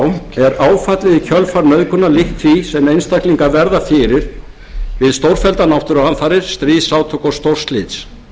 áfallið í kjölfar nauðgunar líkt því sem einstaklingar verða fyrir við stórfelldar náttúruhamfarir stríðsátök og stórslys